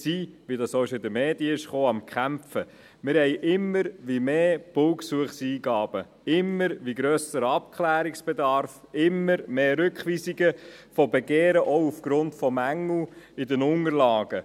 Bei uns werden immer mehr Baugesuche eingegeben, der Abklärungsbedarf steigt stetig und immer mehr Begehren werden zurückgewiesen, auch aufgrund von Mängeln in den Unterlagen.